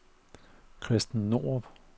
Christen Norup